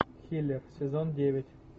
хиллер сезон девять